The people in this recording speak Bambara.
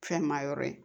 Fɛn maa yɔrɔ ye